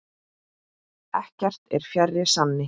Ekkert er fjær sanni.